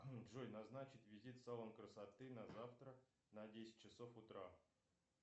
джой назначить визит в салон красоты на завтра на десять часов утра